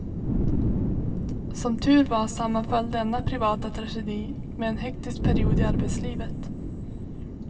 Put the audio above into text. Som tur var sammanföll denna privata tragedi med en hektisk period i arbetslivet.